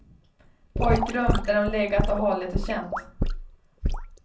Pojkrum där hon legat och hållit och känt.